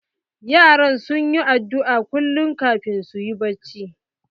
Yaran su na addu'a kullum kafin su yi bacci.